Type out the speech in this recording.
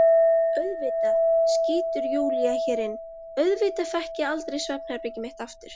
Auðvitað, skýtur Júlía hér inn, auðvitað fékk ég aldrei svefnherbergið mitt aftur.